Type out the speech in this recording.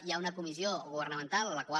hi ha una comissió governamental la qual